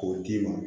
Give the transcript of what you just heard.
K'o d'i ma